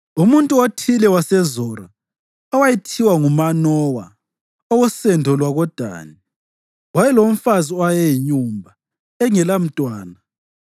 Umuntu othile waseZora, owayethiwa nguManowa, owosendo lwakoDani, wayelomfazi owayeyinyumba engelamntwana.